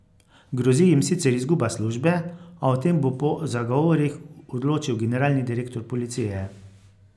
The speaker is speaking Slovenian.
Grozi jim sicer izguba službe, a o tem bo po zagovorih odločil generalni direktor policije.